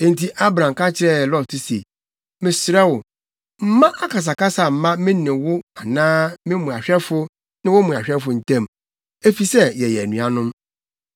Enti Abram ka kyerɛɛ Lot se, “Mesrɛ wo, mma akasakasa mma me ne wo anaa me mmoahwɛfo ne wo mmoahwɛfo ntam, efisɛ yɛyɛ anuanom.